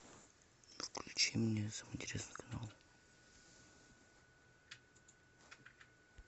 включи мне самый интересный канал